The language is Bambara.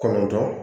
Kɔnɔntɔn